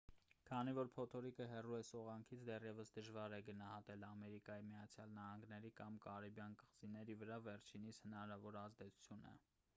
քանի որ փոթորիկը հեռու է սողանքից դեռևս դժվար է գնահատել ամերիկայի միացյալ նահանգների կամ կարիբյան կղզիների վրա վերջինիս հնարավոր ազդեցությունը